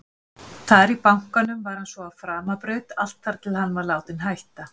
Þar í bankanum var hann svo á framabraut allt þar til hann var látinn hætta.